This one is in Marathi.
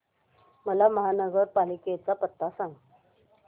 मला महापालिकेचा पत्ता सांग